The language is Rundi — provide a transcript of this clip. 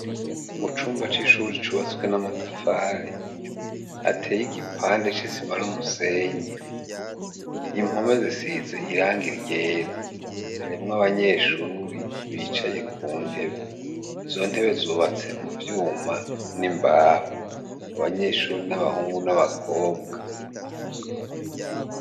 Mu cumba c'ishure cubatswe n'amatafari ateye igipande c'isima n'umusenyi impome zisize irangi ryera harimwo abanyeshure bicaye ku ntebe izo ntebe zubatse mu vyuma n'imbaho abanyeshure ni abahungu n'abakobwa.